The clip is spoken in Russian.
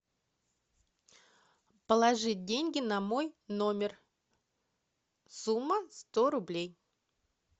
положить деньги на мой номер сумма сто рублей